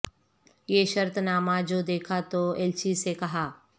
یہ شرط نامہ جو دیکھا تو ایلچی سے کہا